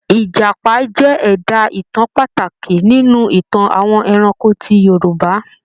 Ìjàpá jẹ́ ẹ̀dá-ìtàn pàtàkì nínú Ìtàn àwọn ẹranko ti Yorùbá.